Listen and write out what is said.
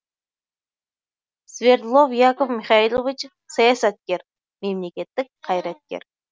свердлов яков михайлович саясаткер мемлекеттік қайраткер